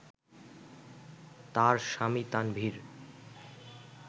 তার স্বামী তানভীর